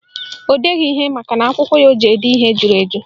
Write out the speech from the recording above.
O deghị ihe makana akwụkwọ o ji ede ihe juru eju